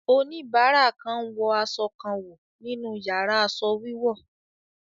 Oníbàárà kan ń wọ aṣọ kan wò nínú yàrá aṣọ wíwọ̀.